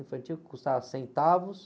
infantil que custava centavos.